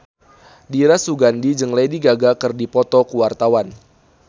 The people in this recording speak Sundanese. Dira Sugandi jeung Lady Gaga keur dipoto ku wartawan